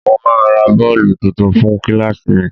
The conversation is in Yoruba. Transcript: Mo máa ra bọ́ọ̀lù tuntun fún kíláàsì mi